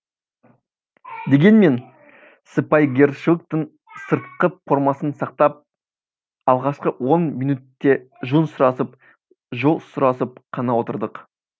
дегенмен сыпайыгершіліктің сыртқы пормасын сақтап алғашқы он минөтте жөн сұрасып жол сұрасып қана отырдық